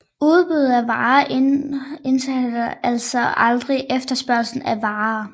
Udbuddet af varer indhenter altså aldrig efterspørgslen af varer